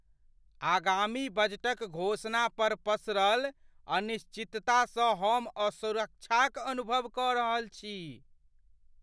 आगामी बजटक घोषणा पर पसरल अनिश्चिततासँ हम असुरक्षाक अनुभव कऽ रहल अछि।